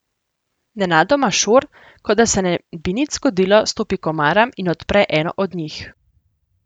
Nenadoma Šor, kot da se ne bi nič zgodilo, stopi k omaram in odpre eno od njih.